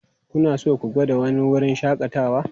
Kuna so ku gwada wani wurin shakatawa?